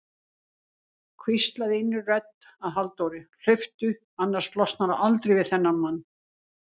hvíslaði innri rödd að Halldóru: hlauptu, annars losnarðu aldrei við þennan mann.